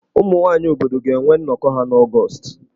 Ụmụ nwaanyị obodo ga-enwe nnọkọ ha n'Ọgọọst.